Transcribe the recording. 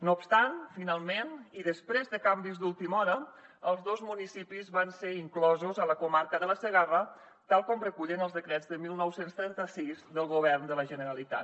no obstant finalment i després de canvis d’última hora els dos municipis van ser inclosos a la comarca de la segarra tal com recullen els decrets de dinou trenta sis del govern de la generalitat